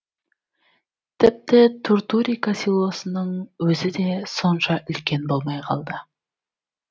тіпті туртурика селосының өзі де сонша үлкен болмай қалды